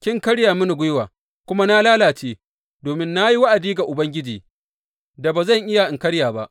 Kin karya mini gwiwa, kuma na lalace, domin na yi wa’adi ga Ubangiji da ba zan iya in karya ba.